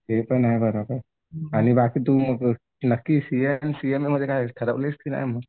ते पण आहे बरोबर. आणि बाकी तू नाकी सीएमध्ये आणि सीएमएमध्ये ठरवलंयस का नाही मग?